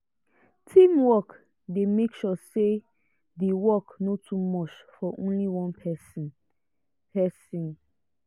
teamwork dey make sure say the work no too much for only one person. person.